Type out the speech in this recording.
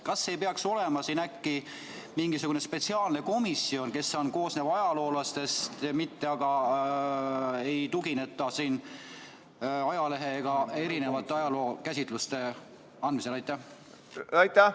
Kas ei peaks olema äkki mingisugune spetsiaalne komisjon, mis koosneb ajaloolastest, mitte ei tuginetaks ajalehes antud erinevatele ajalookäsitlustele?